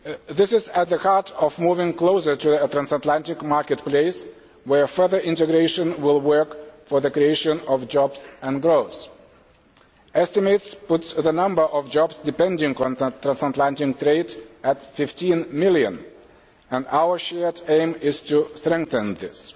This is at the heart of moving closer to a transatlantic marketplace where further integration will work for the creation of jobs and growth. Estimates put the number of jobs depending on transatlantic trade at 15 million and our joint aim is to strengthen this.